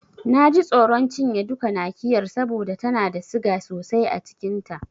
Na ji tsoron cinye duka Nakiyar saboda tana da siga sosai a cikin ta.